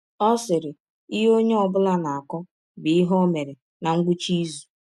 Ọ sịrị: “ Ihe ọnye ọ bụla na - akọ bụ ihe ọ mere ná ngwụcha izụ".